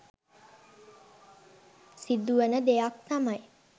සිදුවන දෙයක් තමයි